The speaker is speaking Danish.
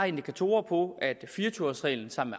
indikatorer på at fire og tyve års reglen sammen